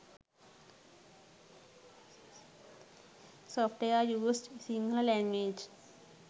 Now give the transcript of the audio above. software used sinhala language